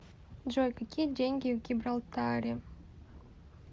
джой какие деньги в гибралтаре